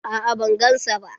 A'a ban gan sa ba.